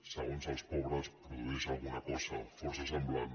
segons els pobres produeix alguna cosa força semblant